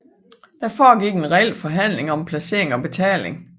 Der foregik en reel forhandling om placering og betaling